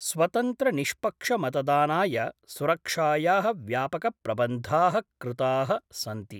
स्वतन्त्रनिष्पक्षमतदानाय सुरक्षाया: व्यापकप्रबन्धा: कृता: सन्ति।